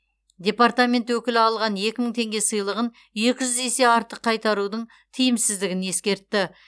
департамент өкілі алған екі мың теңге сыйлығын екі жүз есе артық қайтарудың тиімсіздігін ескертті